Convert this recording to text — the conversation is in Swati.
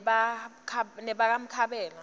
nebakamkhabela